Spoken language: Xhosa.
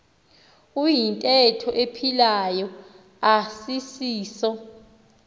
iyintetho ephilayo asisiso